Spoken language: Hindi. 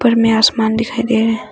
उपर में आसमान दिखाई दे रहा--